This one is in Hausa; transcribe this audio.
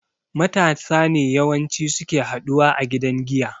Matasa ne yawan ci suke haɗuwa a gidan giya